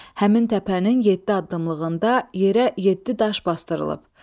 Həmin təpənin yeddi addımlığında yerə yeddi daş basdırılıb.